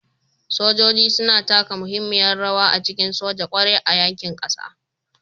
Sojoji suna taka muhimmiyar rawa a cikin soja, ƙware a yaƙin ƙasa.